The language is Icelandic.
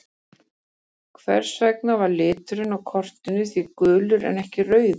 Hvers vegna var liturinn á kortinu því gulur en ekki rauður?